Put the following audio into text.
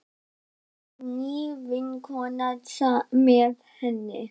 Það var ný vinkona með henni.